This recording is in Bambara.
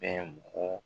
Bɛn bɔ